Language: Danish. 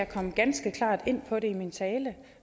jeg kom ganske klart ind på det i min tale